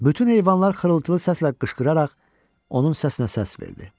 Bütün heyvanlar xırıltılı səslə qışqıraraq onun səsinə səs verdi.